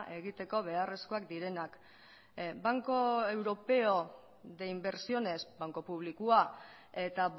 egiteko beharrezkoak direnak banco europeo de inversiones banku publikoa eta